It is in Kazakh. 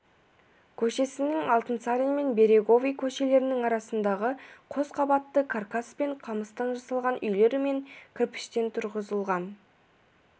көшесінің алтынсарин мен береговой көшелерінің арасындағы қосқабатты каркас пен қамыстан жасалған үйлер мен кірпіштен тұрғызылған